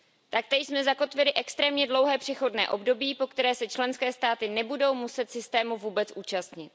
Taktéž jsme zakotvili extrémně dlouhé přechodné období, po které se členské státy nebudou muset systému vůbec účastnit.